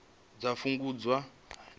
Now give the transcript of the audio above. dza nga fhungudzwa nga u